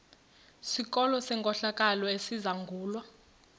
sikolo senkohlakalo esizangulwa